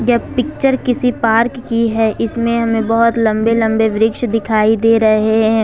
यह पिक्चर किसी पार्क की है इसमें हमें बहुत लंबे लंबे वृक्ष दिखाई दे रहे हैं।